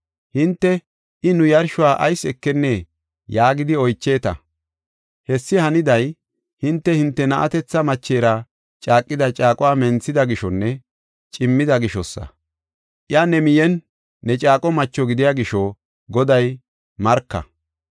Hinte, “I nu yarshuwa ayis ekennee?” yaagidi oycheeta. Hessi haniday, hinte, hinte na7atetha machera caaqida caaquwa menthida gishonne cimmida gishosa; iya ne miyenne ne caaqo macho gidiya gisho Goday marka.